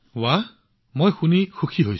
সুন্দৰ মই খুব সুখী হৈছো